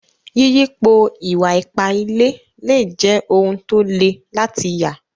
Yìyípo ìwà-ìpà ìlẹ̀ lè jẹ́ ọ̀un tó lè látì yà.